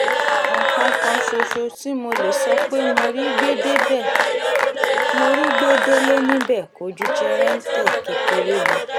nǹkan kan ṣoṣo tí mo lè sọ pé mo rí gbé délé níbẹ̀ kò ju jẹ̀rẹ̀ǹtẹ̀ kékeré lọ